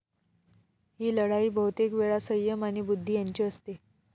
ही लढाई बहुतेक वेळा सय्यम आणि बुद्धी यांची असते.